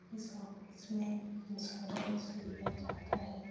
इस ऑफिस में इंश्योरेंस लिया जाता है।